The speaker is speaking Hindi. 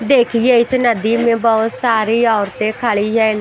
देखिए इस नदी मे बहुत सारी औरते खड़ी है।